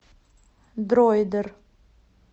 дроидер